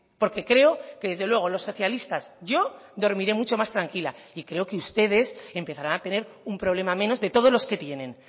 porque creo que desde luego los socialistas yo dormiré mucho más tranquila y creo que ustedes empezarán a tener un problema menos de todos los que tienen